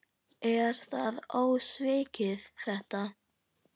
Er það ósvikið þetta?